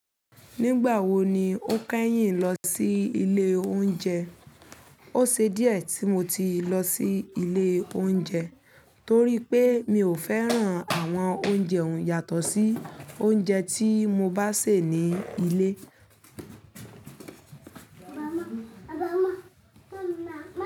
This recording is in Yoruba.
Nígbà wo ni ó ń kẹ́yìn lọ sí ilé oúnjẹ? Ó ṣe díẹ̀ tí mo ti lọ sí ilé oúnjẹ torí pé mi ò fẹ́ràn àwọn oúnjẹ ohun yátọ̀ sí oúnjẹ tí mo bá sè ní ilé.